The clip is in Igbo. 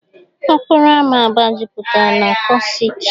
Okporo ámá Aba jupụtara na kịọsịk.